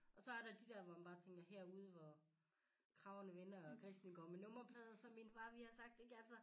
Og så er der de dér hvor man bare tænker herude hvor kragerne vender og grisene går med nummerplade som min far ville have sagt ikke altså